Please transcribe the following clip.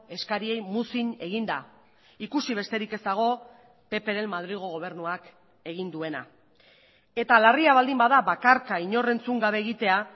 eskariei muzin eginda ikusi besterik ez dago ppren madrilgo gobernuak egin duena eta larria baldin bada bakarka inor entzun gabe egitea